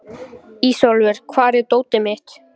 Ísólfur, hvar er dótið mitt?